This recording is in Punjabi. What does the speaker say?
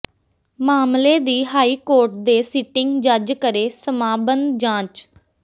ਮਾਮਲੇ ਦੀ ਹਾਈਕੋਰਟ ਦੇ ਸਿਟਿੰਗ ਜੱਜ ਕਰੇ ਸਮਾਂਬੱਧ ਜਾਂਚ